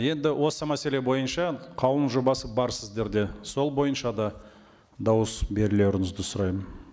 енді осы мәселе бойынша қаулының жобасы бар сіздерде сол бойынша да дауыс берулеріңізді сұраймын